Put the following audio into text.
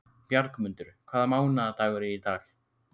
Bjargmundur, hvaða mánaðardagur er í dag?